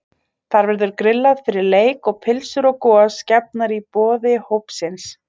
Þar verður grillað fyrir leik og pylsur og gos gefnar í boði hópsins.